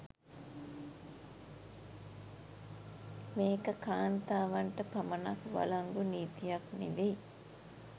මේක කාන්තාවන්ට පමණක් වලංගු නීතියක් නෙවෙයි